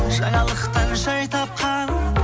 жаңалықтан жай тапқан